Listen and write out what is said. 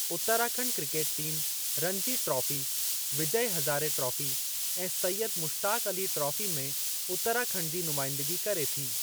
Uttarakhand cricket team Ranji trophy, Vijay Hazare trophy, ऐं Syed Mushtaq Ali trophy में उत्तराखंड जी नुमाइंदगी करे थी।